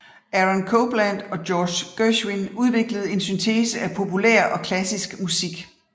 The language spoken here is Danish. Aaron Copland og George Gershwin udviklede en syntese af populær og klassisk musik